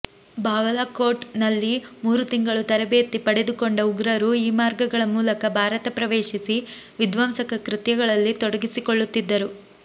ಬಾಲಕೋಟ್ ನಲ್ಲಿ ಮೂರು ತಿಂಗಳು ತರಬೇತಿ ಪಡೆದುಕೊಂಡ ಉಗ್ರರು ಈ ಮಾರ್ಗಗಳ ಮೂಲಕ ಭಾರತ ಪ್ರವೇಶಿಸಿ ವಿಧ್ವಂಸಕ ಕೃತ್ಯಗಳಲ್ಲಿ ತೊಡಗಿಕೊಳ್ಳುತ್ತಿದ್ದರು